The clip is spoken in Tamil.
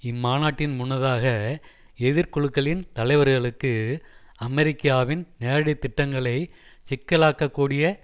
இம்மாநாட்டின் முன்னதாக எதிர்குழுக்களின் தலைவர்களுக்கு அமெரிக்காவின் நேரடி திட்டங்களை சிக்கலாக்கக்கூடிய